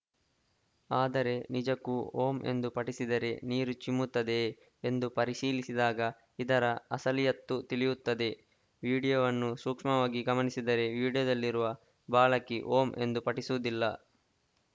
ಆದರೆ ನಿಜಕ್ಕೂ ಓಂ ಎಂದು ಪಠಿಸಿದರೆ ನೀರು ಚಿಮ್ಮುತ್ತದೆಯೇ ಎಂದು ಪರಿಶೀಲಿಸಿದಾಗ ಇದರ ಅಸಲಿಯತ್ತು ತಿಳಿಯುತ್ತದೆ ವಿಡಿಯೋವನ್ನು ಸೂಕ್ಷ್ಮವಾಗಿ ಗಮನಿಸಿದರೆ ವಿಡಿಯೋದಲ್ಲಿರುವ ಬಾಲಕಿ ಓಂ ಎಂದು ಪಠಿಸುವುದಿಲ್ಲ